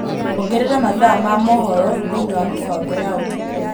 ongerera mathaa ma mohoro thīini wa mīpango ya ūtukū